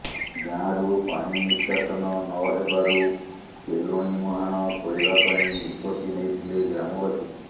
ଗାଁରୁ ପାଣି ନିଷ୍କାସନ ନହେବାରୁ କେଲୁଣୀ ମୁହାଣ ଖୋଳିବା ପାଇଁ ନିଷ୍ପତି ନେଇଥିଲେ ଗ୍ରାମବାସୀ